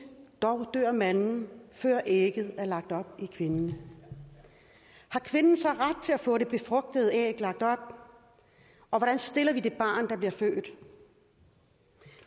dog dør manden før ægget er lagt op i kvinden har kvinden så ret til at få det befrugtede æg lagt op og hvordan stiller vi det barn der bliver født